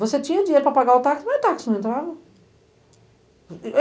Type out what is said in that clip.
Você tinha dinheiro para pagar o táxi, mas o táxi não entrava.